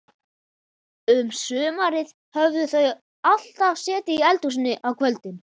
Um sumarið höfðu þau alltaf setið í eldhúsinu á kvöldin.